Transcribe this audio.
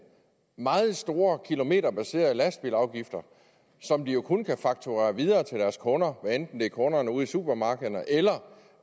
meget store kilometerbaserede lastbilafgifter som de jo kun kan fakturere videre til deres kunder hvad enten det er kunderne ude i supermarkederne eller